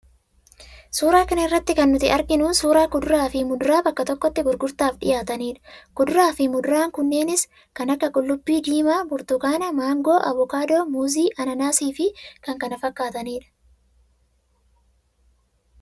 Suuraa kana irratti kan nuti arginu suuraa kuduraa fi muduraa bakka tokkotti gurgurtaaf dhiyaatanidha. Kuduraa fi muduraa knneenis kan akka: qullubbii diimaa, burtukaana, maangoo, abokaadoo, muuzii, anaanaasii fi kan kana fakkaatanidha.